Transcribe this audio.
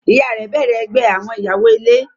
Ìyá rẹ̀ bẹ̀rẹ ẹgbẹ́ àwọn ìyàwó-ilé.